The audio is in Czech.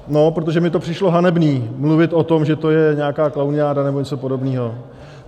No, protože mi to přišlo hanebné mluvit o tom, že to je nějaká klauniáda nebo něco podobného.